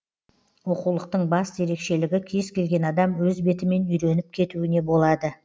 оқулықтың басты ерекшелігі кез келген адам өз бетімен үйреніп кетуіне болады